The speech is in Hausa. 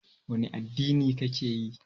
Wani addini ka ke yi?